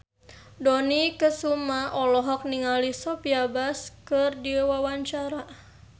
Dony Kesuma olohok ningali Sophia Bush keur diwawancara